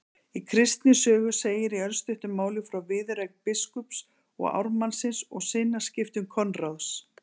Í Kristni sögu segir í örstuttu máli frá viðureign biskups og ármannsins og sinnaskiptum Konráðs